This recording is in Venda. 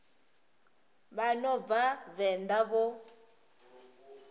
vha no bva venḓa vho